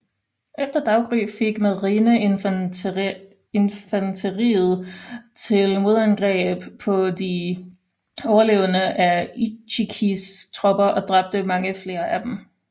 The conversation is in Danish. Efter daggry gik marineinfanteriet til modangreb på de overlevende af Ichikis tropper og dræbte mange flere af dem